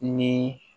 Ni